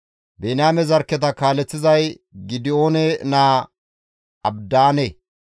Biniyaame zarkketa kaaleththizay Gidi7oone naa Abidaane.